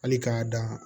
Hali k'a dan